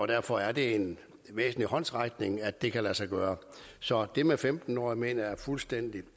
derfor er det en væsentlig håndsrækning at det kan lade sig gøre så det med femten år mener jeg er fuldstændig